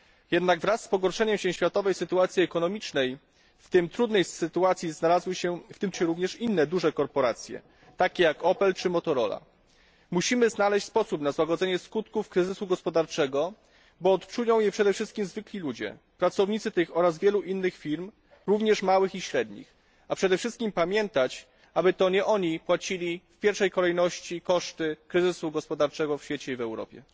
Jednak wraz z pogorszeniem się światowej sytuacji ekonomicznej w tym trudniejszej sytuacji znalazły się również inne duże korporacje, takie jak Opel czy Motorola. Musimy znaleźć sposób na złagodzenie skutków kryzysu gospodarczego, bo odczują je przede wszystkim zwykli ludzie pracownicy tych oraz wielu innych firm, również małych i średnich, a przede wszystkim pamiętać, aby to nie oni ponosili w pierwszej kolejności koszty kryzysu gospodarczego w świecie i w Europie.